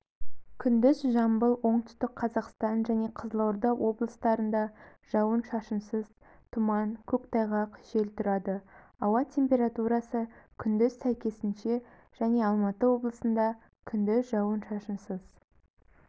күндіз жамбыл оңтүстік қазақстан және қызылорда облыстарында жауын-шашынсыз тұман көктайғақ жел тұрады ауа температурасы күндіз сәйкесінше және алматы облысында күндіз жауын-шашынсыз